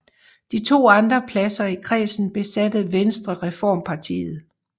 De to andre pladser i kredsen besatte Venstrereformpartiet